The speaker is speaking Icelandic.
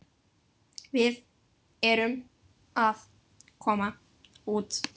Við erum að koma út.